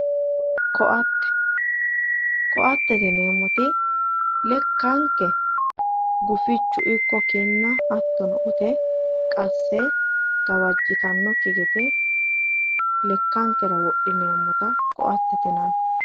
koatte koattete yineemmoti lekanke gufichu ikko kinnano ute qasse gawajjitannokki gede lekkankera wodhineemmota koattete yinanni